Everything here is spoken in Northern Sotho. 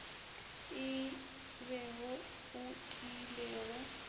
e be wo o tiilego